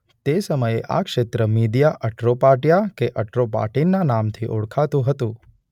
તે સમયે આ ક્ષેત્ર મીદિયા અટ્રોપાટિયા કે અટ્રોપાટીન ના નામ થી ઓળખાતું હતું.